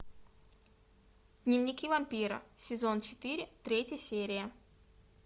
дневники вампира сезон четыре третья серия